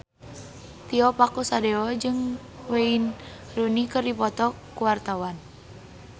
Tio Pakusadewo jeung Wayne Rooney keur dipoto ku wartawan